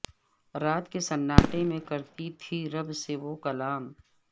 رات کے سناٹے میں کرتی تھیں رب سے وہ کلام